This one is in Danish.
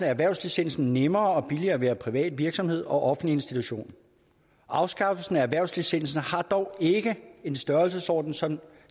erhvervslicensen nemmere og billigere at være privat virksomhed og offentlig institution afskaffelsen af erhvervslicensen har dog ikke en størrelsesorden som